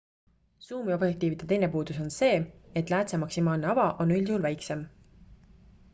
suumobjektiivide teine puudus on see et läätse maksimaalne ava kiirus on üldjuhul väiksem